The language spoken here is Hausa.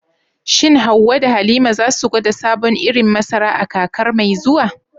Shin Hawwa da Halima za su gwada sabon irin masara a kakar mai zuwa?